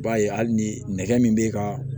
I b'a ye hali ni nɛgɛ min bɛ ka